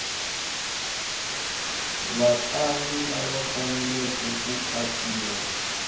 vatlangi lava faneleke ku katsiwa